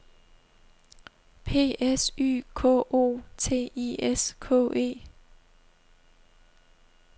P S Y K O T I S K E